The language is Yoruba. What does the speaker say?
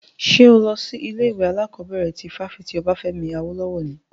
Ṣo lọ sí ilé ìwé alákọ̀bẹ̀rẹ̀ ti fáfitì Obafemi Awolowo ni?